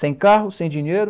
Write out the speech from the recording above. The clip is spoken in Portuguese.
Sem carro, sem dinheiro,